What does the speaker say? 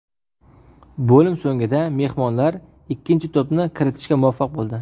Bo‘lim so‘nggida mehmonlar ikkinchi to‘pni kiritishga muvaffaq bo‘ldi.